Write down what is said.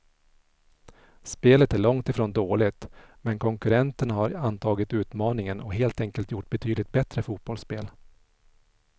Spelet är långt ifrån dåligt, men konkurrenterna har antagit utmaningen och helt enkelt gjort betydligt bättre fotbollsspel.